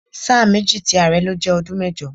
Sáà méjì tí ààrẹ́ lo jẹ́ ọdún mẹ́jọ.